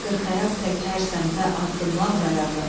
Qırxayaq tək hər səmtə addımlamır ayağın.